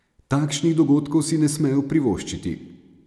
Takšnih dogodkov si ne smejo privoščiti.